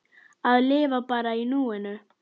Að lifa bara í núinu!